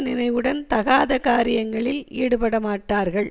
நினைவுடன் தகாத காரியங்களில் ஈடுபடமாட்டார்கள்